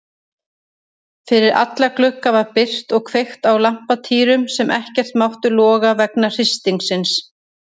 Fyrir alla glugga var byrgt og kveikt á lampatýrum sem ekkert máttu loga vegna hristingsins.